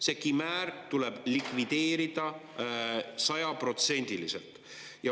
See kimäär tuleb likvideerida sajaprotsendiliselt.